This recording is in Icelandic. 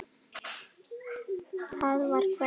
Það var Kveðja.